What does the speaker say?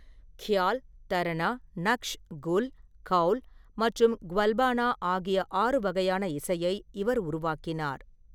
கியால், தரனா, நக்ஷ், குல், கவுல் மற்றும் வல்பானா ஆகிய ஆறு வகையான இசையை இவர் உருவாக்கினார்.